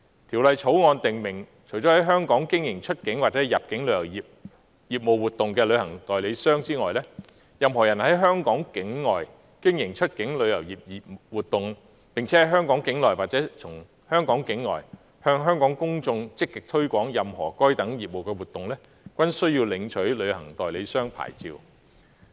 《條例草案》訂明，除了在香港經營出境或入境旅遊業活動的旅行代理商外，任何人在香港境外經營出境旅遊業務活動，並在香港境內或從香港境外向香港公眾積極推廣任何該等業務活動，均須領取旅行代理商牌照。